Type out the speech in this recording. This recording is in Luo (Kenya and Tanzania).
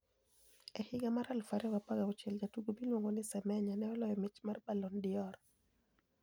E higa mar 2016 jatugo miluonigo nii Semeniya ni e oloyo mich mar Balloni d'Or .